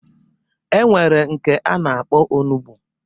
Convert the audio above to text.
E nwere nke a na-akpọ onugbo